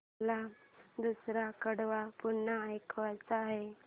मला दुसरं कडवं पुन्हा ऐकायचं आहे